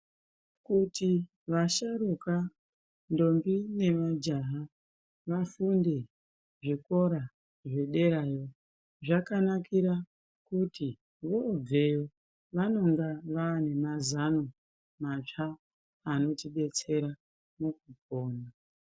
Kuti vasharukwa ndombi nemajaha vasenge zvikora zvederayo zvakanakira kuti kubveyo vanenge vane mazano matsva anotidetsera mukupona.